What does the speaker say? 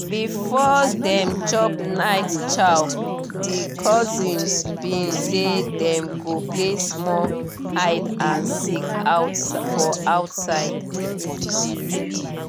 before dem chop night chow di cousins been say dem go play small hide and seek for outside